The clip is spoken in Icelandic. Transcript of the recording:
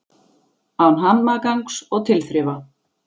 Án hamagangs og tilþrifa.